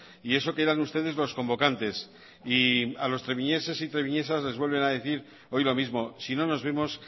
y eso que eran ustedes los convocantes y a los treviñeses y treviñesas les vuelven a decir hoy lo mismo si no nos vemos